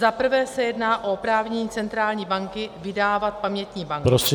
Zaprvé se jedná o oprávnění centrální banky vydávat pamětní bankovky -